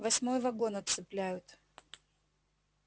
восьмой вагон отцепляют